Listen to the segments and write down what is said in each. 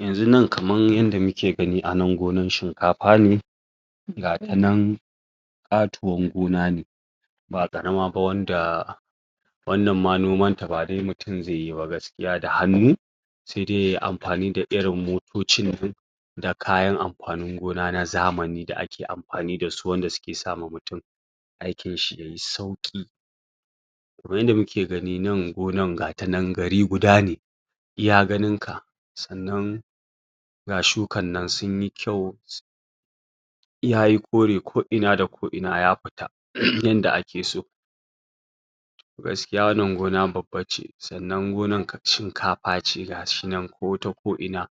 yanxu nan kamar yadda muke gani gonan shikafa ne ga tanan katuwan gonane ba ƙarama ba wanda wannan ma noman ta ba dai mutum ne zaiyi ba gaskiya da hannu sai dai yayi amfani da irin motocin da kayan amafni gona na zamani da ake amfani da su da suke sama mutum aikin shi ya yi sauqi kamar yadda muke gani gonan gari guda ne iya ganinka sannan ga shukan nan sunyi kyau yayi kore ko ina da ko ina yafita yadda ake so gaskiya wannan gona babba ce sannan gonan shinkaface gashin nan ko ta ko ina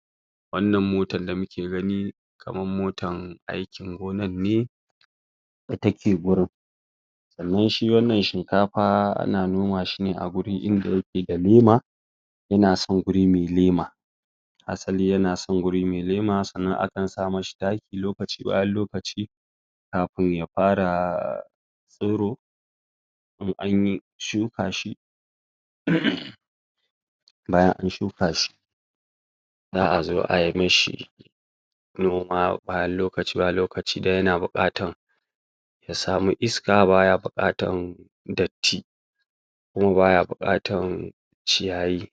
wannan mota da muke gani kamar motan aikin gonan ne da take gurin sannan wannan shikafa ana nomashi ne awaje wanda yake da lema yana son guri mai lema hasali yana son wuri mai lema sannan akan samishi taki lokaci bayan lokaci kafin yafara tsiro in anyi shuka shi um bayan anshuka shi za'azo ayi mishi shiri noma lokaci bayan lokaci don yana bukatar ya sami iska baya bukatar datti kuma baya bukatar ciyayi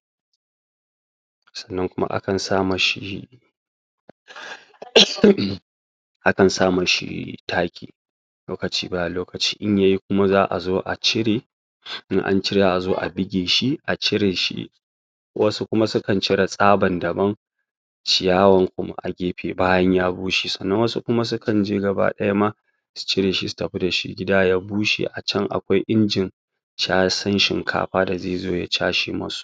sannan kuma akan sama shi? akan sa mashi taki lokaci bayan lokaci in yayi kuma za'a zo acire in ancire za'azo a buge a cireshi wadansu kuma suka cire tsabar daban ciyawan kuma agefe bayan ya bushe sannan wasu kuma sukan je gabaya ma su cireshi su tafi dashi gida ya bushe a chan akwai injin chasan shinkafa za zai zo ya case musu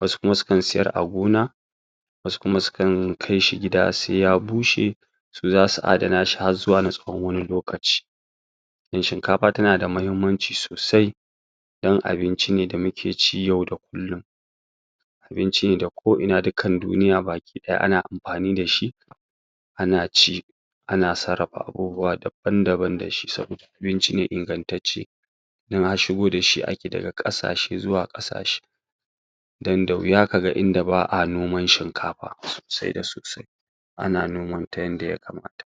wasu kuma sukan sayar a gona wasu kuma sukan kaishi gida sai ya bushe su zasu adana shi harzuwa wani lokaci don shinkafa tana da muhimmanci sosai don abinci ne da muke ci yau da kullum abincin da ko ina a duniya ana amfani dashi ana ci ana sarrafa abubuwa daban daban da shi saboda abinci ne ingantacce don har shigo da shi ake daga kasashe zuwa kasashe don da wuya kaga inda ba'a noman shikafa sai da sosai ana noman ta yanda ya kamata